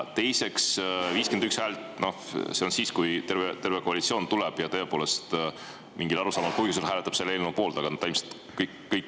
Teiseks, 51 häält – noh, see on siis, kui terve koalitsioon tuleb ja tõepoolest mingil arusaamatul põhjusel hääletab selle poolt.